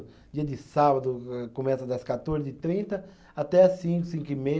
Dia de sábado eh começa das quatorze e trinte até as cinco, cinco e meia